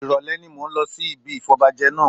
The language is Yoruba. Ìrọ̀lẹ́ ni mò ń lọ sí ibi ìfọbajẹ náà